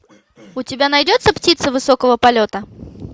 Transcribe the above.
у тебя найдется птица высокого полета